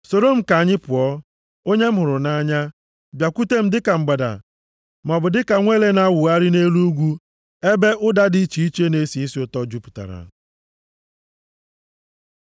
Soro m ka anyị pụọ, onye m hụrụ nʼanya, bịakwute m dịka mgbada, maọbụ dịka nwa ele na-awụgharị nʼelu ugwu ebe ụda dị iche iche na-esi isi ụtọ jupụtara.